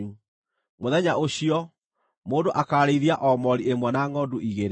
Mũthenya ũcio, mũndũ akaarĩithia o moori ĩmwe na ngʼondu igĩrĩ.